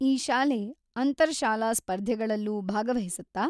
ಈ ಶಾಲೆ ಅಂತರ್-ಶಾಲಾ ಸ್ಪರ್ಧೆಗಳಲ್ಲೂ ಭಾಗವಹಿಸುತ್ತಾ?